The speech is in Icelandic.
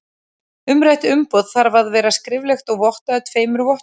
Umrætt umboð þarf að vera skriflegt og vottað af tveimur vottum.